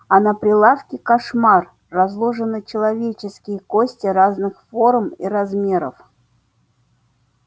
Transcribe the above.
а на прилавке кошмар разложены человеческие кости разных форм и размеров